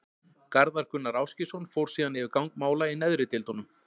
Garðar Gunnar Ásgeirsson fór síðan yfir gang mála í neðri deildunum.